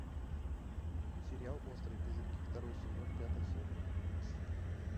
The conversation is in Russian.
сериал острые козырьки второй сезон пятая серия